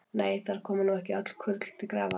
Nei, þar koma nú ekki öll kurl til grafar.